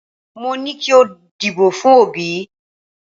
Mo ní kí o dìbò fún Òbí